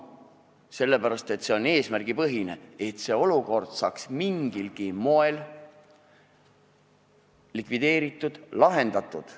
See on eesmärgipõhine, sest see olukord peab saama mingilgi moel lahendatud.